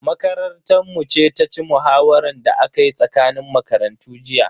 Makarantar mu ce ta ci muhawaran da aka yi tsakanin makarantu jiya.